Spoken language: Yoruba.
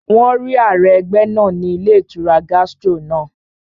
Wọ́n rí ààrẹ ẹgbẹ́ náà ní ilé ìtura Gastro náà